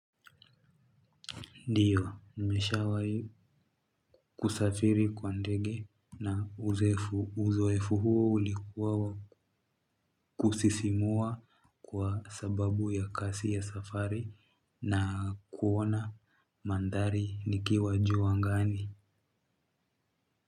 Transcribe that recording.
Ndiyo, nimeshawai kusafiri kwa ndege na uzoefu huo ulikuwa kusisimua kwa sababu ya kasi ya safari na kuona mandhari nikiwa ju angani.